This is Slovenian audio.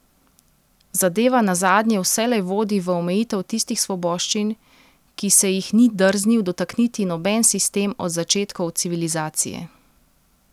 Zadeva nazadnje vselej vodi v omejitev tistih svoboščin, ki se jih ni drznil dotakniti noben sistem od začetkov civilizacije.